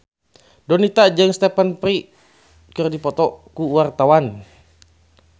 Donita jeung Stephen Fry keur dipoto ku wartawan